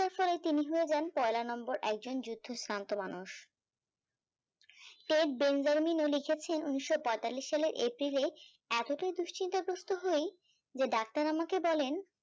টির তিনি হয়ে যাই পয়লা নম্বর একজন যুদ্ধশ্রান্ত মানুষ টেট বেনজালিনলিখেছেন উনিশশো পঁয়তাল্লিশ সালের এপ্রিল এ এতটাই দুশ্চিন্তা গোস্ত হয় যে ডাক্তার আমাকে বলেন